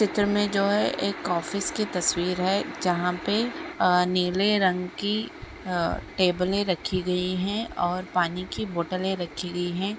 में जो है एक ऑफिस की तस्वीर है जहाँ पे अ नीले रंग की अ टेबले रखी गई हैं और पानी की बोटलें रखी गई है।